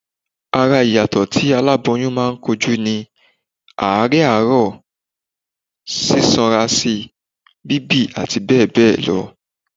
Ara ìyàtọ̀ tí aláboyún máa ń kojú ni: àárẹ̀ àárọ̀, sísanra síi, bíbì àti bẹ́ẹ̀ bẹ́ẹ̀ lọ